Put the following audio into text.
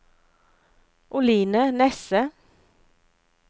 Oline Nesse